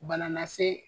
Bana lase